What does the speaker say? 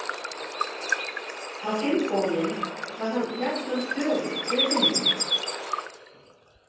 Á hinn bóginn var hann jafnan þögull við vinnu.